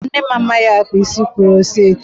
Mba, nne m amaghị akpa isi kuroceti.